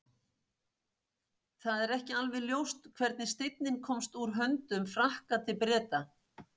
það er ekki alveg ljóst hvernig steinninn komst úr höndum frakka til breta